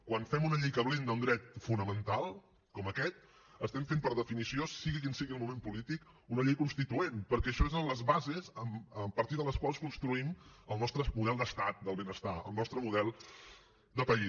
quan fem una llei que blinda un dret fonamental com aquest estem fent per definició sigui quin sigui el moment polític una llei constituent perquè això són les bases a partir de les quals construïm el nostre model d’estat del benestar el nostre model de país